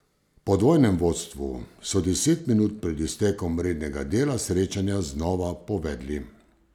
Po dvojnem vodstvu so deset minut pred iztekom rednega dela srečanja znova povedli.